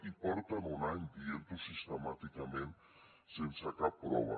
i porten un any dient ho sistemàticament sense cap prova